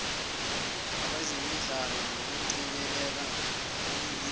abezemidlalo nokungcebeleka eningizimu